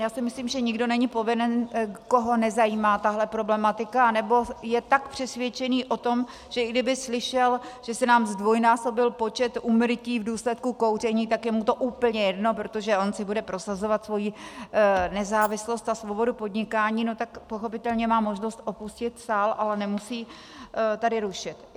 Já si myslím, že nikdo není povinen, koho nezajímá tahle problematika anebo je tak přesvědčený o tom, že i kdyby slyšel, že se nám zdvojnásobil počet úmrtí v důsledku kouření, tak je mu to úplně jedno, protože on si bude prosazovat svoji nezávislost a svobodu podnikání, no tak pochopitelně má možnost opustit sál, ale nemusí tady rušit.